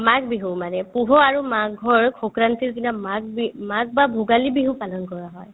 মাঘ বিহু মানে পুহৰ আৰু মাঘৰ সংক্ৰান্তিৰ দিনা মাঘ বি মাঘ বা ভোগালী বিহু পালন কৰা হয়